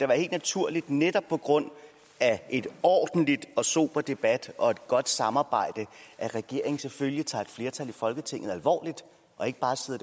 helt naturligt netop på grund af en ordentlig og sober debat og et godt samarbejde at regeringen selvfølgelig tager et flertal i folketinget alvorligt og ikke bare sidder